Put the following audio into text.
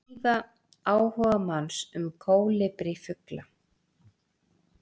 Síða áhugamanns um kólibrífugla.